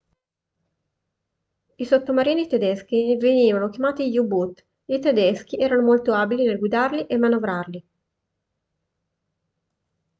i sottomarini tedeschi venivano chiamati u-boot i tedeschi erano molto abili nel guidarli e manovrarli